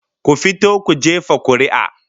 Ku fito ku jefa kuri'a